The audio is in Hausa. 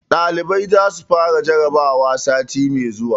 Ɗalibai za su fara jarabawa sati mai zuwa.